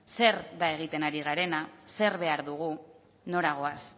zer da egiten ari garena zer behar dugu nora goaz